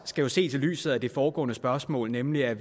skal jo ses i lyset af det foregående spørgsmål nemlig at